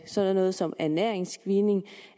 sådan noget som ernæringsscreening